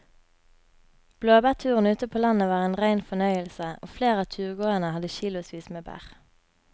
Blåbærturen ute på landet var en rein fornøyelse og flere av turgåerene hadde kilosvis med bær.